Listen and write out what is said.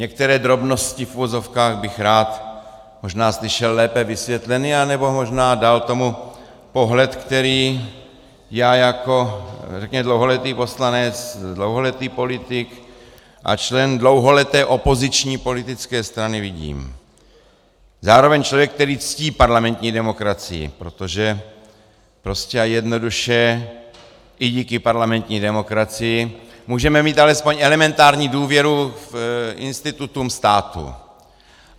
Některé drobnosti v uvozovkách bych rád možná slyšel lépe vysvětleny nebo možná dal tomu pohled, který já jako řekněme dlouholetý poslanec, dlouholetý politik a člen dlouholeté opoziční politické strany vidím, zároveň člověk, který ctí parlamentní demokracii, protože prostě a jednoduše, i díky parlamentní demokracii můžeme mít alespoň elementární důvěru k institutům státu.